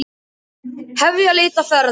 Hefja leit að ferðamanni